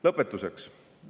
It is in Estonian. Lõpetuseks.